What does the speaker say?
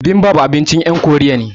Bibimbap abincin yan Koriya ne